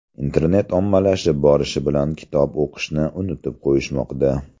Internet ommalashib borishi bilan kitob o‘qishni unutib qo‘yishmoqda.